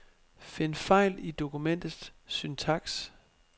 Find fejl i dokumentets syntaks.